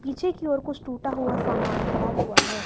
पीछे की और कुछ टूटा हुआ सामान पड़ा हुआ है।